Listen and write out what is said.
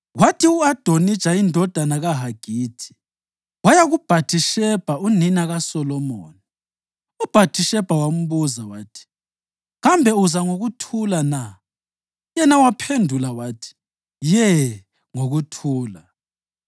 Kwathi u-Adonija, indodana kaHagithi, waya kuBhathishebha, unina kaSolomoni. UBhathishebha wambuza wathi, “Kambe uza ngokuthula na?” Yena waphendula wathi, “Ye, ngokuthula.”